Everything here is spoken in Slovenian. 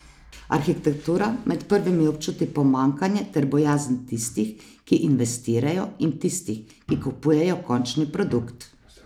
Arhitektura med prvimi občuti pomanjkanje ter bojazen tistih, ki investirajo, in tistih, ki kupujejo končni produkt.